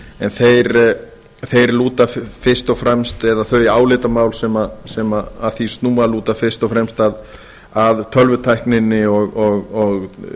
en þeir lúta fyrst og fremst eða þau álitamál sem að því snúa lúta fyrst og fremst að tölvutækninni og